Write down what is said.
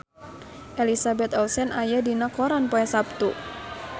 Elizabeth Olsen aya dina koran poe Saptu